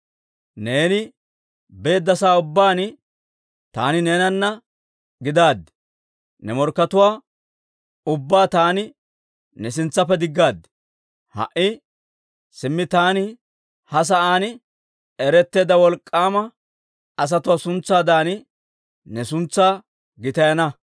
Neeni beedda sa'aa ubbaan taani neenana gidaad; ne morkkatuwaa ubbaa taani ne sintsaappe diggaad. Ha"i simmi taani ha sa'aan eretteedda wolk'k'aama asatuwaa suntsaadan ne suntsaa gitayana.